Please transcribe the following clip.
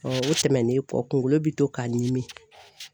o tɛmɛnen kɔ kunkolo bi to k'a n ɲimi